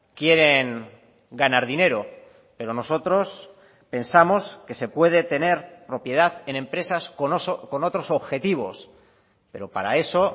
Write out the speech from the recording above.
quieren ganar dinero pero nosotros pensamos que se puede tener propiedad en empresas con otros objetivos pero para eso